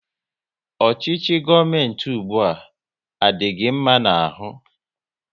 Ọchịchị gọọmenti ụgbụa, a dị gị mma n'ahụ?